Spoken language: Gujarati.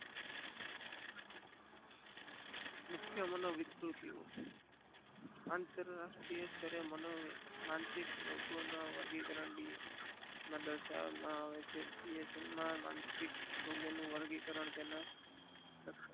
મુખ્ય મન વિકૃતિઓ આંતર રાષ્ટિય માનસિક લોકો નું વર્ગીકરણ દર્શાવામાં આવે છે માનસિક લોકો નું વર્ગી કારણ તેના